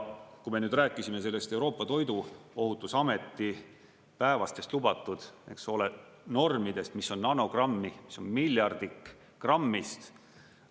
Kui me rääkisime sellest Euroopa Toiduohutusameti päevastest lubatud normidest, mis on nanogrammi, mis on miljardik grammist.